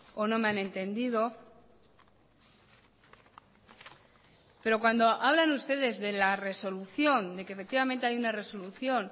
o no me han entendido pero cuando hablan ustedes de la resolución de que efectivamente hay una resolución